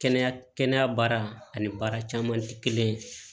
Kɛnɛya kɛnɛya baara ani baara caman tɛ kelen ye